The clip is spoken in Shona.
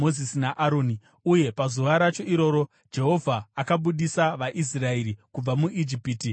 Uye pazuva racho iroro Jehovha akabudisa vaIsraeri kubva muIjipiti namapoka avo.